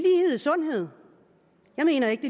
sundhed jeg mener ikke